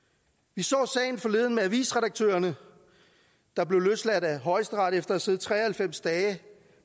vi så sagen forleden med avisredaktørerne der blev løsladt af højesteret efter at have siddet tre og halvfems dage